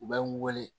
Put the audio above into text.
U bɛ n wele